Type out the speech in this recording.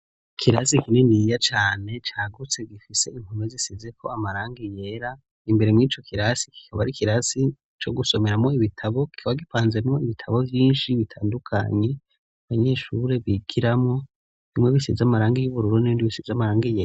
Ikirasi kininiya cane cagutse gifise impome zisizeko amarangi yera, imbere mur'ico kirasi kikaba ari ikirasi co gusomeramo ibitabo kikaba gipanzemwo ibitabo vyinshi bitandukanye, abanyeshure bigiramwo bimwe bisize amarangi n'ibindi bisize amarangi yera.